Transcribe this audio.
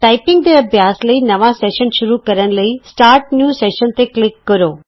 typing ਦੇ ਅਭਿਆਸ ਲਈ ਨਵਾਂ ਸੈਸ਼ਨ ਸ਼ੁਰੂ ਕਰਨ ਲਈ ਸਟਾਰ੍ਟ ਨਿਊ ਸੈਸ਼ਨ ਤੇ ਕਲਿਕ ਕਰੋ